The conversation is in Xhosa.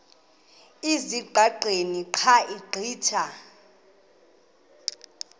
ezingqaqeni xa ugqitha